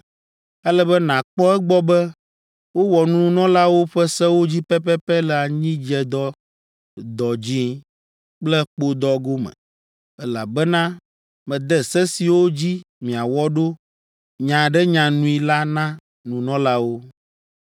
“Ele be nàkpɔ egbɔ be wowɔ nunɔlawo ƒe sewo dzi pɛpɛpɛ le anyidzedɔ, dɔdzĩ kple kpodɔ gome, elabena mede se siwo dzi miawɔ ɖo nyaɖenyanui la na nunɔlawo.